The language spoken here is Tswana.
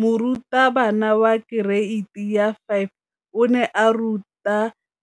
Moratabana wa kereiti ya 5 o ne a ruta